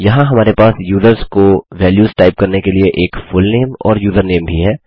यहाँ हमारे पास यूज़र्स को वेल्युस टाइप करने के लिए एक फुलनेम और यूजरनेम भी है